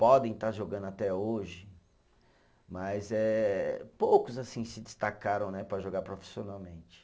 Podem estar jogando até hoje, mas eh poucos assim se destacaram né, para jogar profissionalmente.